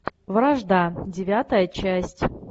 вражда девятая часть